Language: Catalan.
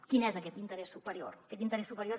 quin és aquest interès superior aquest interès superior